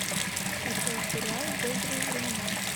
включай сериал добрые времена